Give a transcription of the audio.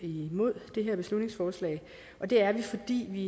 imod det her beslutningsforslag og det er vi fordi vi